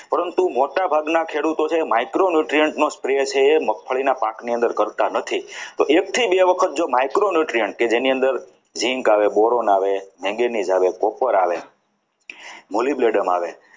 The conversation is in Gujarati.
મોટાભાગના ખેડૂતો છે એ micro newtriunt નો spray છે એ મગફળીના પાકની અંદર કરતા નથી તો એક થી બે વખત જો micro newtriunt કે જેની અંદર zinc આવે boron આવે manganese આવે coper આવે mollybladem આવે